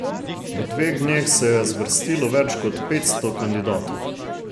V dveh dneh se je zvrstilo več kot petsto kandidatov.